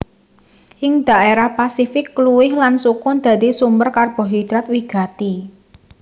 Ing dhaérah Pasifik kluwih lan sukun dadi sumber karbohidrat wigati